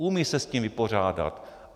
Umějí se s tím vypořádat.